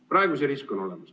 Praegu see risk on olemas.